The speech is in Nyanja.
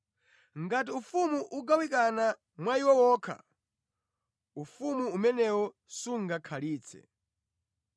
Ngati ufumu ugawanikana mwa iwo okha, ufumu umenewo sungakhalitse.